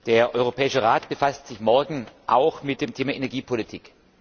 Der Europäische Rat befasst sich morgen auch mit dem Thema Energiepolitik.